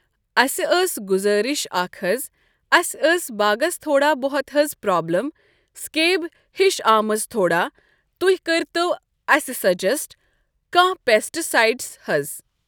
اسہِ ٲس گُزٲرِش اَکھ حظ اسہِ ٲس باغَس تھوڑا بہت حظ پرابلِم سِکیب ہِش آمٕژ تھوڑا تُہۍ کٔرۍ تو اَسہِ سَجٮ۪سٹ کانٛہہ پیسٹہٕ سایِڈٕس حَظ ۔